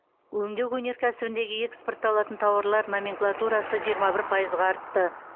өңдеу өнеркәсібіндегі экспортталатын тауарлар номенклатурасы жиырма бір пайызға артты